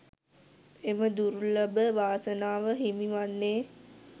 එම දුර්ලභ වාසනාව හිමිවන්නේ